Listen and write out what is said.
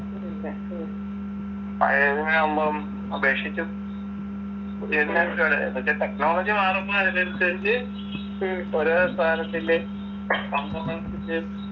പഴയതിനെ ആവുമ്പം ഉപേക്ഷിച്ച് പുതിയതിനെ മറ്റേ technology മാറുമ്പോ അതിനനുസരിച്ച് ഓരോ സാനത്തിൻ്റെയും